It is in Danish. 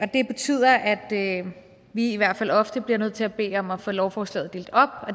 det betyder at vi i hvert fald ofte bliver nødt til at bede om at få lovforslaget delt op